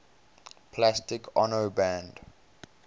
plastic ono band